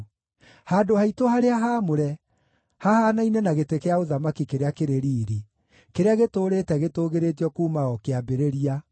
Handũ haitũ harĩa haamũre, hahaanaine na gĩtĩ gĩa ũthamaki kĩrĩa kĩrĩ riiri, kĩrĩa gĩtũũrĩte gĩtũũgĩrĩtio kuuma o kĩambĩrĩria,